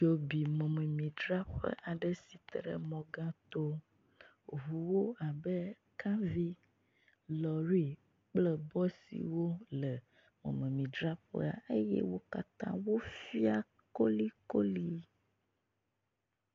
Dzo bi mɔmemidzraƒe aɖe si ke te ɖe mɔ gã to. Ŋuwo abe kawo, lɔ̃ri kple bɔsiwo le mɔmemidzraƒea eye wo katã wofia kolikoli.